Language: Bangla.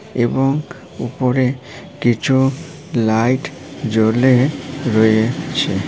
এবং উপরে কিছু লাইট জ্বলে রয়েছে।